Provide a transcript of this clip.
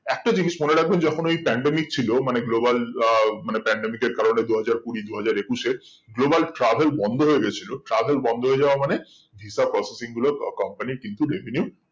একটা জিনিস মনে রাখবেন যেকোন ওই pandemic ছিল মানে global আহ মানে pandemic এর কারণে দুই হাজার কুড়ি দুই হাজার একুশে global travel বন্ধ হয়ে গেছিলো travel বন্ধ হয়ে যাওয়া মানে visa processing গুলো company কিন্তু revenue